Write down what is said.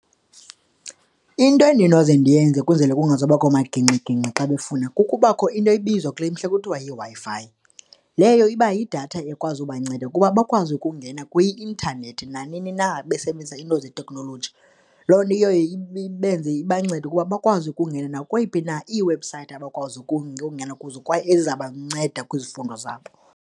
Into endinoze ndiyenze ukuze kungazubakho magingxigingxi xa befuna kukuba kukho into ebizwa kule mhle kuthiwa yiWi-Fi, leyo iba yidatha ekwazi ubanceda ukuba bakwazi ukungena kwi-intanethi nanini na, besebenzisa iinto zeteknoloji. Loo nto iye ibenze, ibanceda ukuba bakwazi ukungena nakweyiphi na iiwebhusayithi abakwazi ukungena kuzo kwaye eziza kubanceda kwizifundo zabo.